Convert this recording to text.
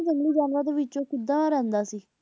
ਜੰਗਲੀ ਜਾਨਵਰਾਂ ਦੇ ਵਿੱਚ ਉਹ ਕਿਦਾਂ ਰਹਿੰਦਾ ਸੀ,